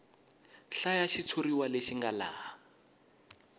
hlaya xitshuriwa lexi nga laha